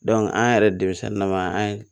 an yɛrɛ denmisɛnnin na ma an ye